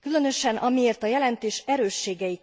Különösen, amiért a jelentés erősségei